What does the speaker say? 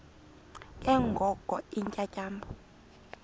ke ngoko iintyatyambo